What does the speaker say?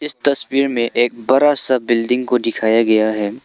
इस तस्वीर में एक बड़ा सा बिल्डिंग को दिखाया गया है।